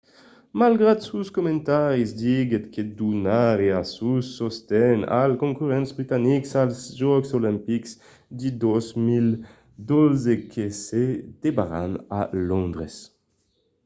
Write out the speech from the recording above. malgrat sos comentaris diguèt que donariá sos sosten als concurrents britanics als jòcs olimpics de 2012 que se debanaràn a londres